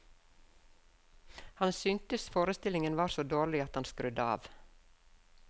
Han syntes forestillingen var så dårlig at han skrudde av.